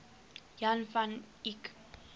jan van eyck